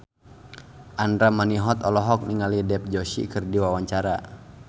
Andra Manihot olohok ningali Dev Joshi keur diwawancara